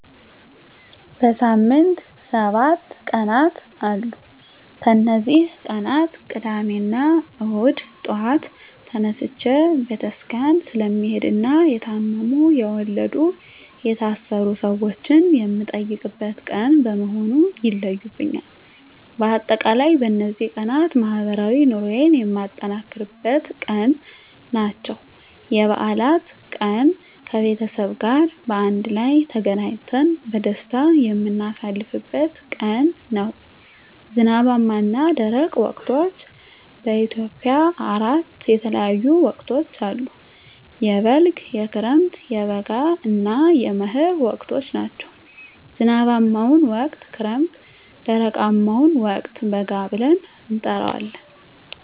በሳምንት ሰባት ቀናት አሉ ከነዚህ ቀናት ቅዳሜና እሁድ ጧት ተነስቸ ቤተክርስቲያን ስለምሄድና የታመሙ፣ የወለዱ፣ የታሰሩ ሰወችን የምጠይቅበት ቀን በመሆኑ ይለዩብኛል። በአጠቃላይ በነዚህ ቀናት ማህበራዊ ኑሮየን የማጠናክርበት ቀን ናቸው። *የበዓላት ቀን፦ ከቤተሰብ ጋር በአንድ ላይ ተገናኝተን በደስታ የምናሳልፍበት ቀን ነው። *ዝናባማና ደረቅ ወቅቶች፦ በኢትዮጵያ አራት የተለያዩ ወቅቶች አሉ፤ የበልግ፣ የክረምት፣ የበጋ እና የመህር ወቅቶች ናቸው። *ዝናባማውን ወቅት ክረምት *ደረቃማውን ወቅት በጋ ብለን እንጠራዋለን።